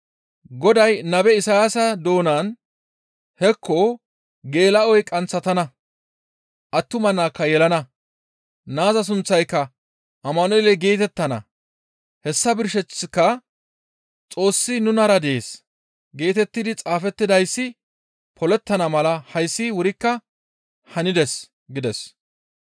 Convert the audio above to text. Goday nabe Isayaasa doonan, «Hekko! Geela7oy qanththatana; attuma naakka yelana; naaza sunththayka Amanu7eele geetettana; hessa birsheththika, ‹Xoossi nunara dees› geetettidi xaafettidayssi polettana mala hayssi wurikka hanides» gides.